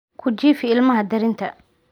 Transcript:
Ku jiifi ilmaha darinta.